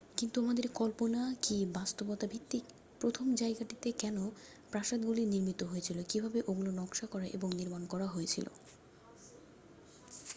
কিন্তু আমাদের কল্পনা কী বাস্তবতা ভিত্তিক প্রথম জায়গাটিতে কেন প্রাসাদগুলি নির্মিত হয়েছিল কীভাবে ওগুলো নকশা করা এবং নির্মাণ করা হয়েছিল